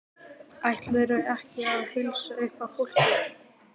Ætlarðu ekki að heilsa upp á fólkið?